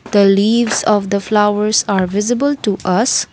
the leaves of the flowers are visible to us.